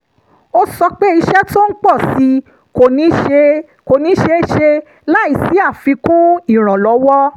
ó sọ pé iṣẹ́ tó ń pọ̀ sí i kò ní ṣeé ṣe láìsí àfikún ìrànlọ́wọ́